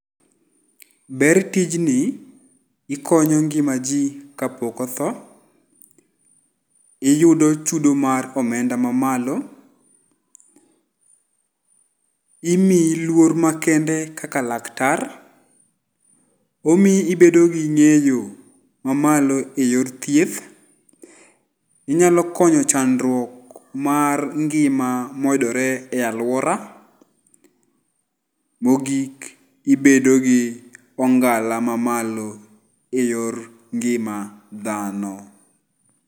Ber tijni, ikonyo ngima ji kapok otho. Iyudo chudo mar omenda mamalo. Imiyi luor makende kaka laktar, omiyi ibedo gi ng'eyo mamalo e yor thieth. Inyalo konyo chandruok mar ngima moyudore e aluora. Mogik ibedo gi ong'ala mamalo eyor ngima dhano.